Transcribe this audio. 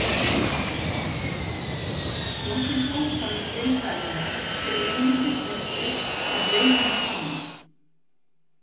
Nokkrir hópar risaeðla eru einungis þekktir af leifum tanna.